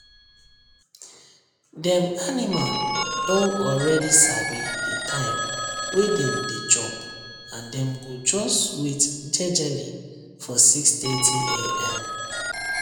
dem animal don already sabi the time wey dem dey chop and dem go just wait jejely for 630am